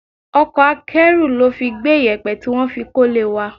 Ọkọ̀ akẹ́rù ló fi gbé iyẹpẹ tí wọ́n fi kọ́lé wá.